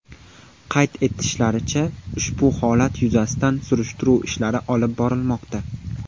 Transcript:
Qayd etishlaricha, ushbu holat yuzasidan surishtiruv ishlari olib borilmoqda.